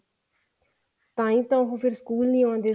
ਤਾਂਹੀ ਤਾਂ ਫ਼ੇਰ ਉਹ ਸਕੂਲ ਨੀ ਆਉਂਦੇ